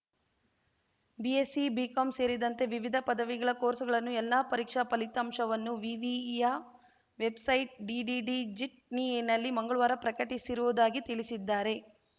BSc BCom ಸೇರಿದಂತೆ ವಿವಿಧ ಪದವಿಗಳ ಕೋರ್ಸುಗಳ ಎಲ್ಲಾ ಪರೀಕ್ಷಾ ಫಲಿತಾಂಶವನ್ನು ವಿವಿಯ ವೆಬ್‌ಸೈಟ್‌ ಡಿಡಿಡಿಜಿಟ್ನಿ ನಲ್ಲಿ ಮಂಗ್ಳವಾರ ಪ್ರಕಟಿಸಿರುವುದಾಗಿ ತಿಳಿಸಿದ್ದಾರೆ